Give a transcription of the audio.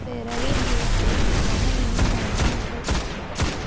Beeralayda waxay u baahan yihiin inay helaan xog cusub.